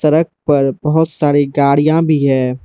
सड़क पर बहोत सारी गाड़ियां भी है।